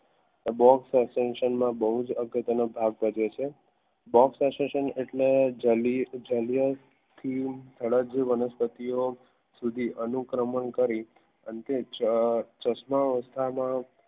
box accesation બહુ જ અગત્યનો ભાગ ભજવે છે. box accesation એટલે વનસ્પતિઓ સુધી અનુકરણ કરી અંતે ચો ચશ્મા